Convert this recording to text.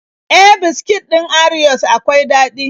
E, biskit ɗin orios akwai daɗi.